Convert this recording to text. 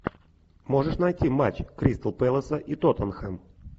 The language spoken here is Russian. можешь найти матч кристал пэласа и тоттенхэм